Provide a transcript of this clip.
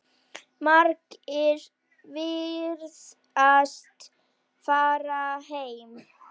Margir virðast farnir heim.